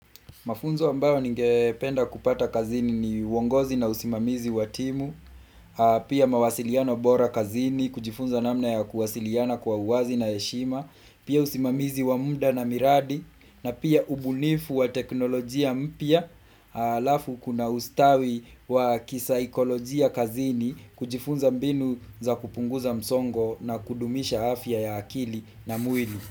Mafunzo ambayo ngependa kupata kazini ni wongozi na usimamizi watimu, pia mawasiliano bora kazini, kujifunza namna ya kuwasiliana kwa uwazi na heshima, pia usimamizi wa muda na miradi, na pia ubunifu wa teknolojia mpya, alafu kuna ustawi wa kisaikolojia kazini, kujifunza mbinu za kupunguza msongo na kudumisha afya ya akili na mwili.